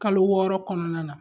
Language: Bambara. Kalo wɔɔrɔ kɔnɔna na